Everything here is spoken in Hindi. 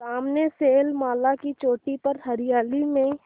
सामने शैलमाला की चोटी पर हरियाली में